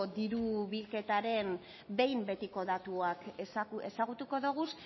diru bilketaren behin betiko datuak ezagutuko ditugu